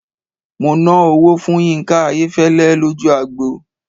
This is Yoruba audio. Mo ná owó fún Yínká Ayéfẹ́lẹ́ lójú agbo.